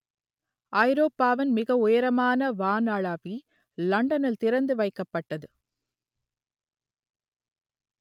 ஐரோப்பாவின் மிக உயரமான வானளாவி லண்டனில் திறந்து வைக்கப்பட்டது